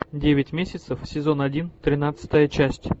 девять месяцев сезон один тринадцатая часть